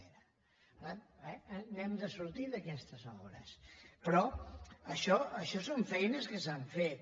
per tant n’hem de sortir d’aquestes obres però això són feines que s’han fet